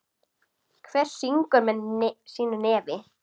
Hver syngur með sínu nefi.